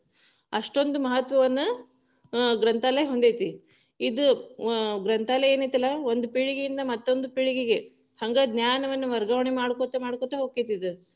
ಅಷ್ಟೊಂದು ಮಹತ್ವವನ್ನ, ಅ ಗ್ರಂಥಾಲಯ ಹೊಂದೈತಿ, ಇದು ಗ್ರಂಥಾಲಯ ಏನ್ ಐತಲ್ಲಾ ಒಂದ ಪೀಳಿಗೆ ಇಂದ ಮತ್ತೊಂದು ಪೀಳಿಗೆಗೆ, ಹಂಗ ಜ್ಞಾನವನ್ನು ವರ್ಗಾವಣೆ ಮಾಡ್ಕೋತ ಮಾಡ್ಕೋತ ಹೊಕ್ಕೇತಿ ಇದು.